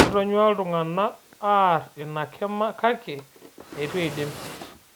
Etonyuaa ltung'ana aar ina kima kake eitu eidim